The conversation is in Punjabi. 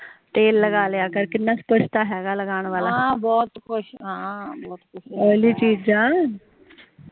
ਤੇਲ ਲਗਾ ਲਿਆ ਕਰ ਕਿੰਨਾ ਕੁਜ ਤਾ ਹੇਗਾ ਲਗਾਣ ਵਾਲਾ ਓਐਲੀ ਚੀਜਾ